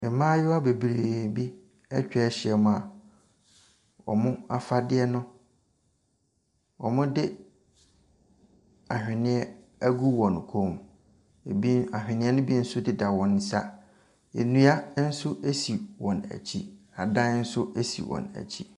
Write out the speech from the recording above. Mmayewa bebree bi atwa ahyiam a wɔn afadeɛ no wɔde ahwenneɛ agu wɔn kɔn mu. Ebi ahwenneɛ no bi nso deda wɔn nsa. Nnua nso si wɔn akyi. Adan nso si wɔn akyi.